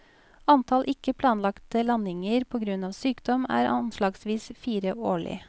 Antall ikke planlagte landinger på grunn av sykdom, er anslagsvis fire årlig.